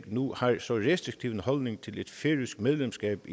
nu har en så restriktiv holdning til et færøsk medlemskab